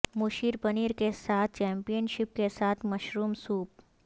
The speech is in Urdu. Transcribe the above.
مشیر پنیر کے ساتھ چیمپئن شپ کے ساتھ مشروم سوپ